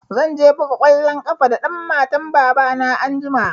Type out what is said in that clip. Zan je buga kwalon ƙafa da ɗan matan baba na anjima